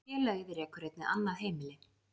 Félagið rekur einnig annað heimili